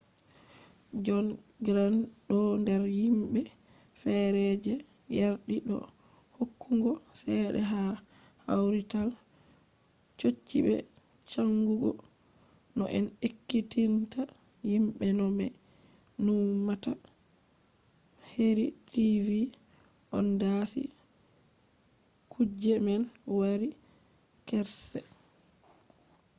jon grant ɗo nder himɓe fere je yardi do hokkugo cede ha kawrital chochi be chanjugo no en ekkitinta himɓe no ɓe numata heri tv on dasi kuje man wari karshe